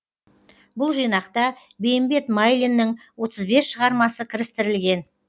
бұл жинақта бейімбет майлиннің отыз бес шығармасы кірістірілген